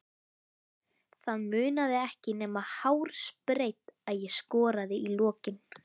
Það munaði ekki nema hársbreidd að ég skoraði í lokin.